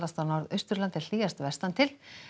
á Norðausturlandi en hlýjast vestantil